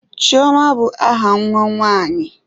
Chioma bụ aha nwa nwanyi.